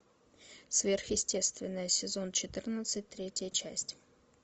сверхъестественное сезон четырнадцать третья часть